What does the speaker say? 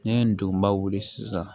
N'i ye ndoba wuli sisan